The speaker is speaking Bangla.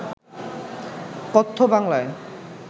কথ্য বাংলায়